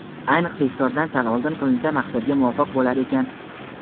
ayniqsa iftordan sal oldin qilinsa maqsadga muvofiq bo‘lar ekan.